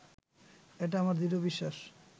এটা আমার দৃঢ় বিশ্বাস